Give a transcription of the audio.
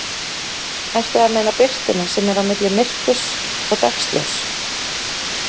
Ertu að meina birtuna sem er á milli myrkurs og dagsljóss?